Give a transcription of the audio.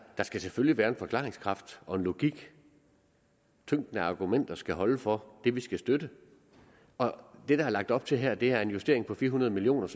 der skal selvfølgelig være en forklaringskraft og en logik tyngden af argumenter skal holde for det vi skal støtte og det der er lagt op til her er en justering på fire hundrede million